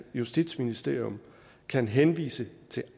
justitsministerium kan henvise til